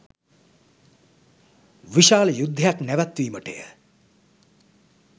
විශාල යුද්ධයක් නැවැත්වීමටය.